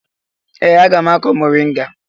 Ee! Aga m akụ mọrịnga.